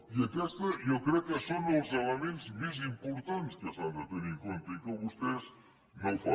i aquests jo crec que són elements més importants que s’han de tenir en compte i que vostès no ho fan